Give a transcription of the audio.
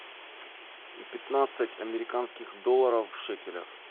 пятнадцать американских долларов в шекелях